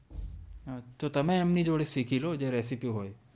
હા તો તમે એમની જોડે શીખી લો જે રેસીપી હોય